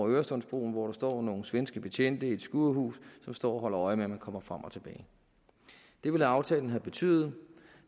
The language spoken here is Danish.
øresundsbroen hvor der står nogle svenske betjente i et skurhus som står og holder øje med om man kommer frem og tilbage det ville aftalen have betydet